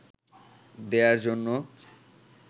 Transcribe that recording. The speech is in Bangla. দেয়ার জন্য